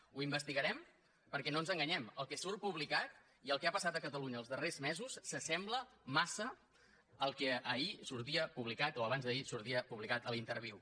ho investigarem perquè no ens enganyem el que surt publicat i el que ha passat a catalunya els darrers mesos s’assembla massa al que ahir sortia publicat o abansd’ahir a l’interviu